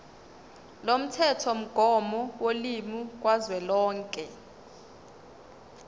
lomthethomgomo wolimi kazwelonke